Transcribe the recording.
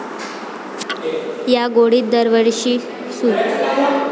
या गोडीत दरवर्षी सू.